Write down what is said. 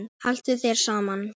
Haltu þér saman